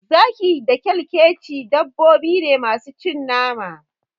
Zaki, Kura da kyalkyeci dabbobine masu cin nama.